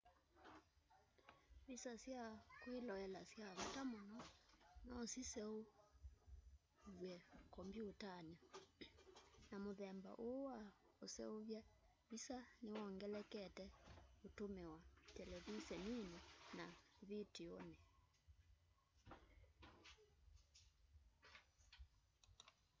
visa sya kwĩloela sya vata mũno no siseuvĩw'e kombyũtanĩ na mũthemba ũũ wa ũseũvya visa nĩwongelekete ũtũmĩwa televiseninĩ na vitiunĩ